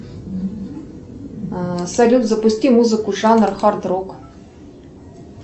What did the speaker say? салют запусти музыку жанр хард рок